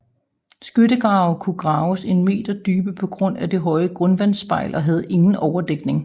Skyttegrave kunne kun graves en meter dybe på grund af det høje grundvandsspejl og havde ingen overdækning